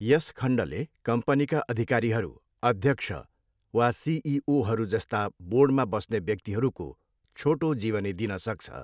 यस खण्डले कम्पनीका अधिकारीहरू, अध्यक्ष वा सिइओहरू जस्ता बोर्डमा बस्ने व्यक्तिहरूको छोटो जीवनी दिन सक्छ।